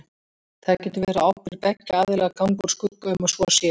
Það getur verið á ábyrgð beggja aðila að ganga úr skugga um að svo sé.